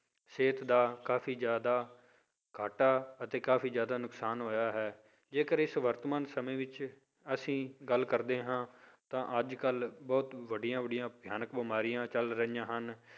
ਸਿਹਤ ਦਾ ਕਾਫ਼ੀ ਜ਼ਿਆਦਾ ਘਾਟਾ ਅਤੇ ਕਾਫ਼ੀ ਜ਼ਿਆਦਾ ਨੁਕਸਾਨ ਹੋਇਆ ਹੈ, ਜੇਕਰ ਇਸ ਵਰਤਮਾਨ ਸਮੇਂ ਵਿੱਚ ਅਸੀਂ ਗੱਲ ਕਰਦੇ ਹਾਂ, ਤਾਂ ਅੱਜ ਕੱਲ੍ਹ ਬਹੁਤ ਵੱਡੀਆਂ ਵੱਡੀਆਂ ਭਿਆਨਕ ਬਿਮਾਰੀਆਂ ਚੱਲ ਰਹੀਆਂ ਹਨ